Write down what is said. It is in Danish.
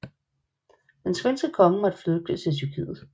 Den svenske konge måtte flygte til Tyrkiet